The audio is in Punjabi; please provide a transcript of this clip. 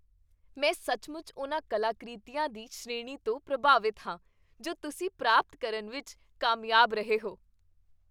ਮੈਂ ਸੱਚਮੁੱਚ ਉਨ੍ਹਾਂ ਕਲਾਕ੍ਰਿਤੀਆਂ ਦੀ ਸ਼੍ਰੇਣੀ ਤੋਂ ਪ੍ਰਭਾਵਿਤ ਹਾਂ ਜੋ ਤੁਸੀਂ ਪ੍ਰਾਪਤ ਕਰਨ ਵਿੱਚ ਕਾਮਯਾਬ ਰਹੇ ਹੋ।